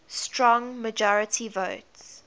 strong majority votes